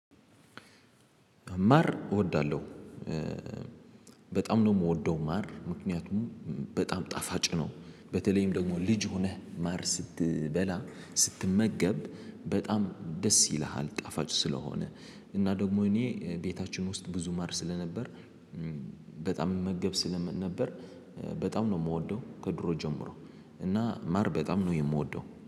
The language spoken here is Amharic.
ማር እወዳለሁ በጣም ነው የምወደው። ማር ምክንያቱም በጣም ጣፋጭ ነው በተለይም ደግሞ ልጅ ሆነህ ማር ስትበላ ስትመገብ በጣም ደስ ይልሃል ጣፋጭ ስለሆነ። እና ደግሞ እኔ ቤታችን ውስጥ ብዙ ማር ስለነበር በጣም እመገብ ስለነበር በጣም ነው የምወደው። ከድሮ ጀምረው እና ማር በጣም ነው የምወደው